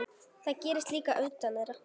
Það gerðist líka utan þeirra.